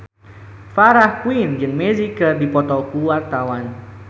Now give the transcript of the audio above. Farah Quinn jeung Magic keur dipoto ku wartawan